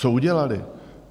Co udělaly?